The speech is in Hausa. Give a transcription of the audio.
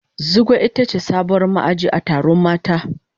Zugwai ita ce sabuwar ma'aji a taron mata.